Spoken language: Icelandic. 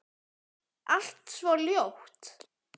Allt svo ljótt.